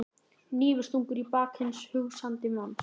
Hnífstungur í bak hins hugsandi manns.